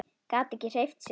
Gat ekki hreyft sig.